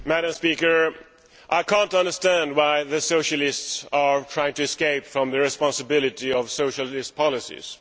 Madam President, I cannot understand why the Socialists are trying to escape from the responsibility of Socialist policies.